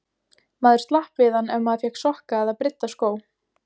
Maður slapp við hann ef maður fékk sokka eða brydda skó.